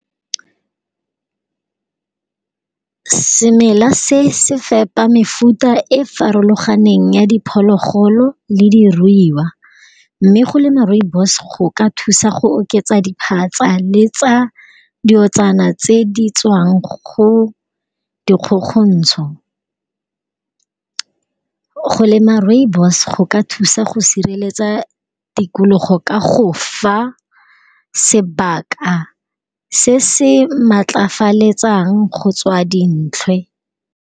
Semela se se fepa mefuta e farologaneng ya diphologolo le di ruiwa, mme go lema Rooibos go ka thusa go oketsa diphatsa le tsa di otsana tse di tswang go di kgokgontsho. Go lema Rooibos go ka thusa go sireletsa tikologo ka go fa sebaka se se matlafalefetsang go tswa dintlha.